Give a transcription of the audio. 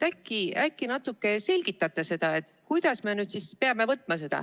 Äkki natuke selgitate seda, kuidas me peame seda võtma.